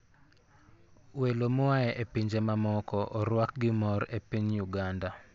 Welo moa e pinje mamoko orwak gi mor e piny Uganda.